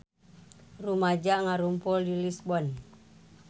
Rumaja ngarumpul di Lisbon